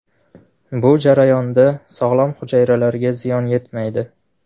Bu jarayonda sog‘lom hujayralarga ziyon yetmaydi.